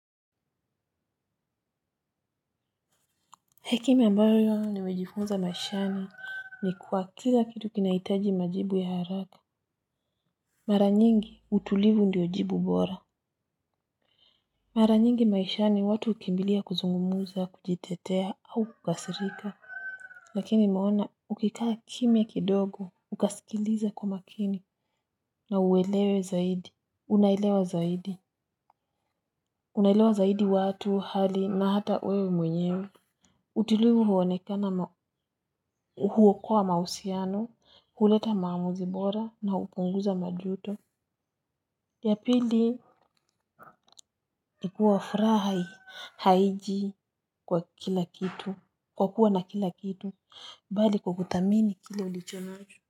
Hekima ambayo nimejifunza maishani ni kuwa kila kitu kinaitaji majibu ya haraka. Mara nyingi utulivu ndio jibu bora. Mara nyingi maishani watu ukimbilia kuzungumuza kujitetea au kukasirika. Lakini maona ukikaa kimya kidogo ukasikiliza kwa makini na uelewe zaidi. Unaelewa zaidi. Unaelewa zaidi watu hali na hata wewe mwenyewe. Utulivu huwonekana huwokoa mausiano huleta maamuzi bora na upunguza majuto. Ya pili ikua furahi haiji kwa kila kitu kwa kuwa na kila kitu mbali kwa kuthamini kile ulicho nacho.